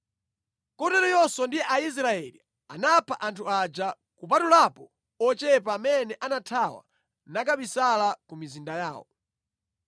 Kotero Yoswa ndi Aisraeli anapha anthu aja, kupatulapo ochepa amene anathawa nakabisala ku mizinda yawo.